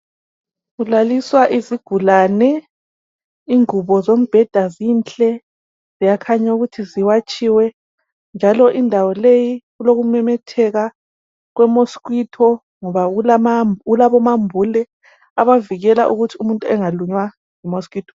kulaliswa isigulane ingubo zombheda zinhle ziyakhanya ukuthi ziwatsiwe njalo indawo leyi kulokumemetheka kwe mosquito ngoba kulabo mambule ovikela ukuthi umntu engalunywa yi mosquito